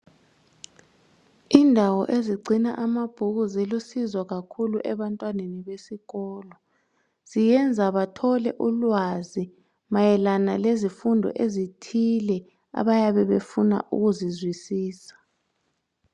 Indawo ezigcina amabhuku zilusizo kakhulu ebantwaneni besikolo ziyenza bathole ulwazi mayelana lezifundo ezithile abayabe befuna ukuzizwisisa